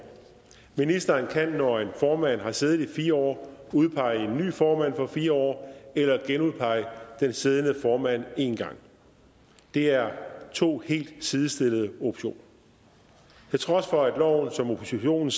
ministeren kan når en formand har siddet i fire år udpege en ny formand for fire år eller genudpege den siddende formand en gang det er to helt sidestillede optioner til trods for at loven som oppositionen